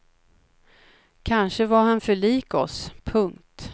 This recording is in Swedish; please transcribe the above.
Kanske var han för lik oss. punkt